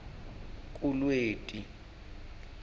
kulweti